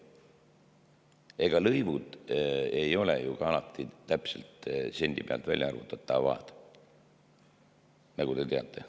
Ega lõivud ei ole ju ka alati täpselt sendi pealt välja arvutatavad, nagu te teate.